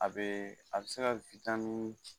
A bɛ a bɛ se ka witamini